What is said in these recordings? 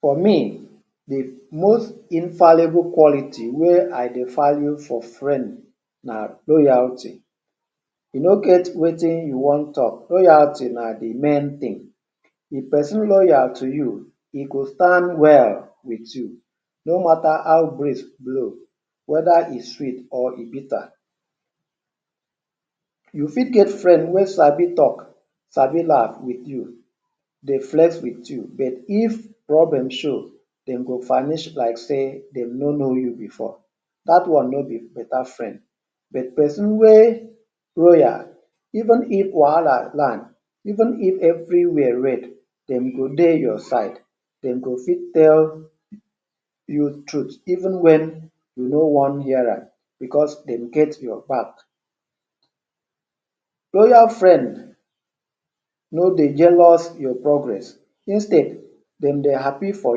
For me, the most infallible quality wey I dey value for friend na loyalty. E no get wetin you wan talk loyalty na the main thing. If person loyal to you, e go stand well with you no matter how breeze blow whether e sweet or e bitter. You fit get friend wey sabi gist, sabi laugh with you, dey flex with you, but if problem show, dem go vanish like say dem no know you before. That one no be better friend. But person wey loyal even if wahala land, even if everywhere red dem go dey your side. Dem go fit tell you truth even when you no wan hear am, because dem get your back. Loyal friend no dey jealous your progress; instead, dem dey happy for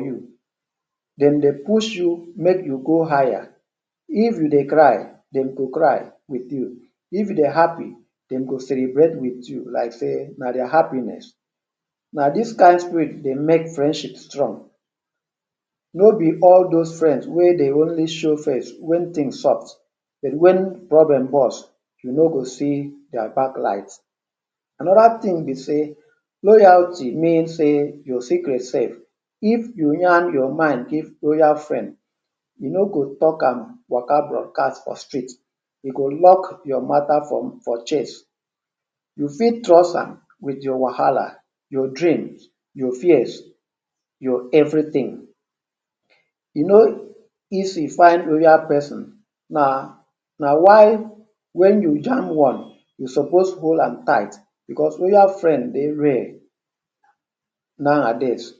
you. Dem dey push you make you go higher. If you dey cry, dem go cry with you. If you dey happy, dem go celebrate with you like say na their happiness. Na this kind spirit dey make friendship strong. No be all those friends wey dey only show face when things soft but when problem bust, you no go even see their back light. Another thing be say, loyalty mean say your secret safe. If you yarn your mind give loyal friend, e no go talk am waka dey broadcast for street. E go lock your matter for chest. You fit trust am with your wahala, your dreams, your fears your everything. E no easy find loyal person. Na why when you jam one, you suppose hold am tight because loyal friend dey rare nowadays.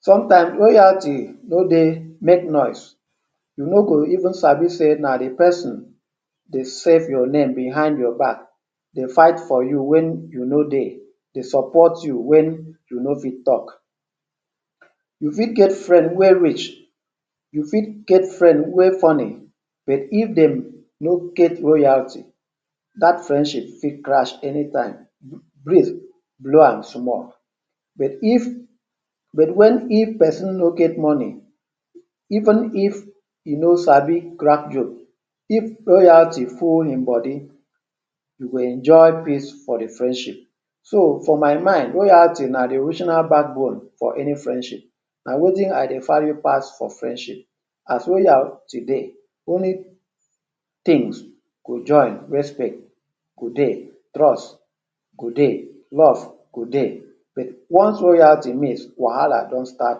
Sometimes loyalty no dey make noise. You no go even sabi say the person dey save your name behind your back dey fight for you when you no dey, dey support you when you no fit talk. You fit get friend wey rich, you fit get friend wey funny, but if dem no get loyalty, that friendship fit crash anytime breeze blow am small. But when if person no get money even if he no sabi crack joke, if loyalty full hin body, you go enjoy peace for the friendship. So, for my mind, loyalty na the emotional backbone for any friendship. Na wetin I dey value pass for friendship. as loyalty dey, many things go join, respect go dey, trust go dey, love go dey. But once loyalty miss wahala don start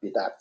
be that.